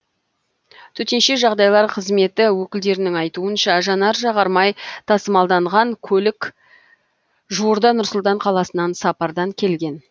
төтенше жағдайлар қызметі өкілдерінің айтуынша жанар жағармай тасымалданған көлік жуырда нұр сұлтан қаласынан сапардан келген